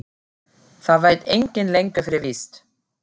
Það veit enginn lengur fyrir víst.